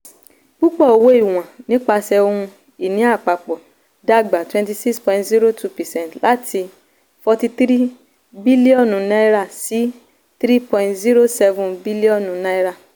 púpò owó ìwọ̀n nípasẹ̀ ohun-ìní àpapọ̀ dàgbà twenty six point zero two percent láti n forty three bíllíọ̀nù sí n three point zero seven bíllíọ̀nù.